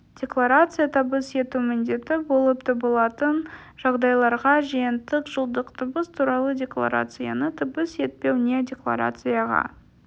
декларация табыс ету міндетті болып табылатын жағдайларда жиынтық жылдық табыс туралы декларацияны табыс етпеу не декларацияға